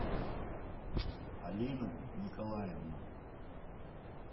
алина николаевна